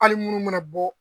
Hali munnu mana bɔ